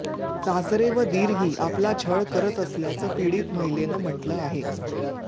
सासरे व दीरही आपला छळ करत असल्याचं पीडित महिलेनं म्हटलं आहे